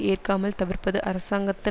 ஏற்காமல் தவிர்ப்பது அரசாங்கத்தின்